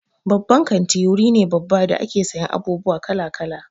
Babban kanti wuri ne babba da ake sayan abubuwa kala-kala.